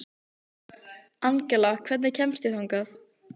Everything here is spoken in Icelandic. Það sem ég segi þér er aðeins endurómur þess.